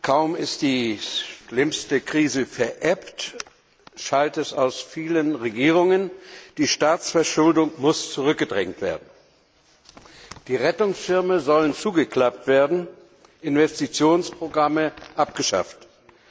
Kaum ist die schlimmste Krise verebbt, schallt es aus vielen Regierungen Die Staatsverschuldung muss zurückgedrängt werden. Die Rettungsschirme sollen zugeklappt, Investitionsprogramme abgeschafft werden.